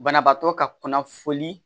Banabaatɔ ka kunnafoni